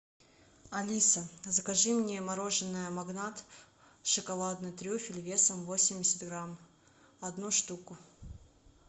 алиса закажи мне мороженое магнат шоколадный трюфель весом восемьдесят грамм одну штуку